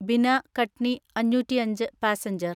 ബിന കട്നി അഞ്ഞൂറ്റിഅഞ്ച് പാസഞ്ചർ